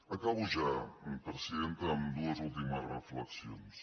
acabo ja presidenta amb dues últimes reflexions